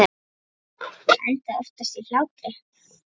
Það endaði oftast í hlátri.